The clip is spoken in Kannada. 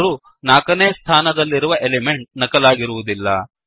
ಆದರೂ 4 ನೇ ಸ್ಥಾನದಲ್ಲಿರುವ ಎಲಿಮೆಂಟ್ ನಕಲಾಗಿರುವುದಿಲ್ಲ